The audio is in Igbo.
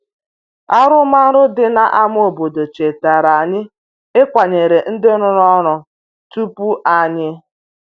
Arụmarụ dị n’ámá obodo chetara anyị ịkwanyere ndị rụrụ ọrụ tupu anyị.